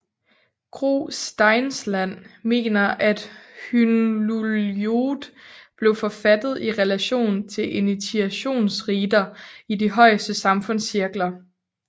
Gro Steinsland mener at Hyndluljóð blev forfattet i relation til initiationsriter i de højeste samfundscirkler